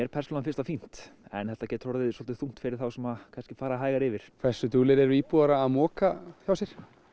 finnst það fínt en þetta getur orðið svolítið þungt fyrir þá sem fara hægar yfir hversu duglegir eru íbúar að moka hjá sér